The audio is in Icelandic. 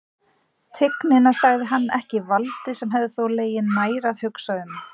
Tignina, sagði hann, ekki valdið, sem hefði þó legið nær að hugsa um.